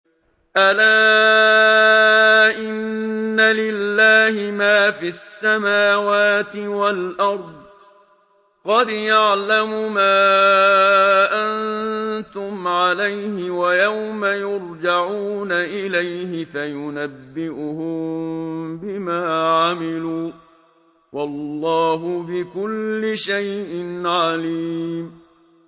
أَلَا إِنَّ لِلَّهِ مَا فِي السَّمَاوَاتِ وَالْأَرْضِ ۖ قَدْ يَعْلَمُ مَا أَنتُمْ عَلَيْهِ وَيَوْمَ يُرْجَعُونَ إِلَيْهِ فَيُنَبِّئُهُم بِمَا عَمِلُوا ۗ وَاللَّهُ بِكُلِّ شَيْءٍ عَلِيمٌ